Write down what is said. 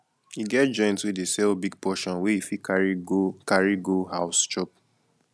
e get joint wey dey sell big portion wey you fit carry go carry go house chop